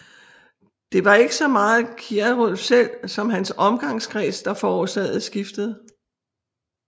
Det var ikke så meget Kierulf selv som hans omgangskreds der forårsagede skiftet